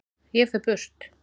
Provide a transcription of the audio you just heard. Ég fer burt.